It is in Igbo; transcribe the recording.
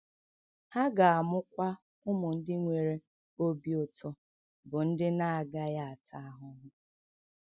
Ha ga - amụkwa ụmụ ndị nwere obi ụtọ, bụ́ ndị na - agaghị ata ahụhụ.